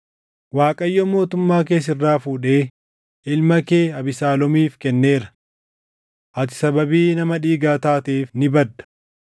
Abiishaayi ilmi Zeruuyaa mootichaan, “Sareen duʼaan kun maaliif gooftaa koo mooticha abaara? Ani dhaqeen mataa isaa irraa kuta” jedhe.